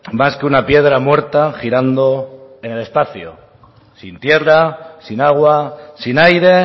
más que una piedra muerta girando en el espacio sin tierra sin agua sin aire